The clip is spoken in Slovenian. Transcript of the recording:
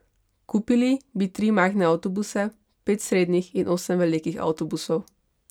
Kupili bi tri majhne avtobuse, pet srednjih in osem velikih avtobusov.